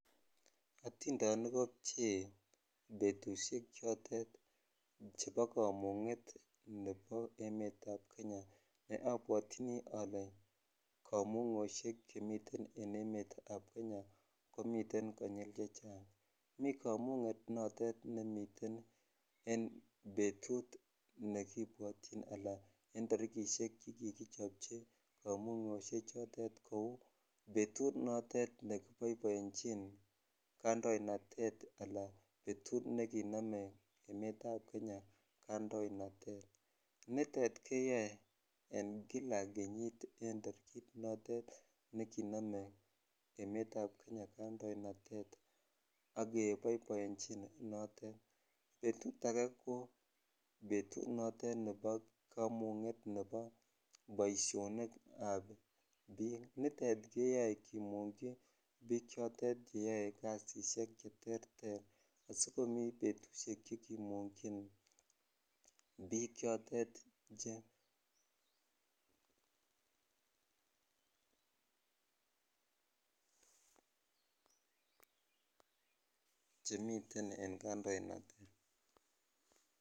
Otindonik kobchee betushek chotet chebo emetab Kenya neobwotyini olee komungoshek chemiten en emetab Kenya komiten konyil chechang, mii komunget notet nemiten en betut nekibwotyin alaan en torikishek chekikichobchi komungoshe chotet kouu betut notet nekiboeboenchin kandoinatet alan betut nekinome emetab Kenya kandoinatet, nitet keyoe kila kenyit en torikit notet nekinome emetab Kenya kandoinatet ak keboiboenjin notet, betut akee ko betut nebo komunget nebo boishonikab biik, nitet keyoe kimungyi biik chotet cheyoe kasisiek che terter asikomi betushek chekimungyin biik chotet chemiten en kandoinatet.